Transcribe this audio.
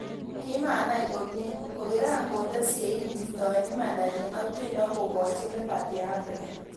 Komanai komie, ko kiran konde sein keistoen imandanyin ak tiendo kokochi Liberty Afrika.